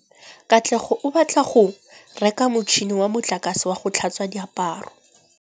Katlego o batla go reka motšhine wa motlakase wa go tlhatswa diaparo.